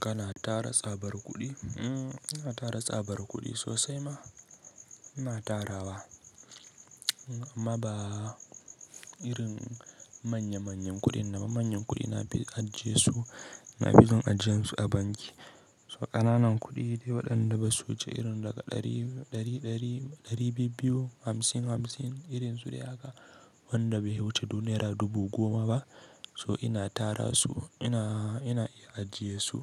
Kana tara tsabar kuɗi? Mm, ina tara tsabar kuɗi sosai ma. Ina tara wa, amma ba irin manya manyan kuɗin ba. Manyan kuɗi na fi ajje su, na fi son ajiye su a banki. So ƙananan kuɗi dai waɗanda basu wuce irin daga ɗari, ɗari, ɗari biyu, hamsin hamsin irin su dai haka wanda bai wuce naira dubu goma ba. So ina tara su, ina, ina ajiyesu